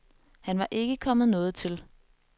Han var ikke kommet noget til.